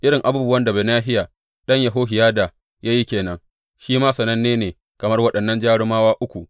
Irin abubuwan da Benahiya ɗan Yehohiyada ya yi ke nan; shi ma sananne ne kamar waɗannan jarumawa uku.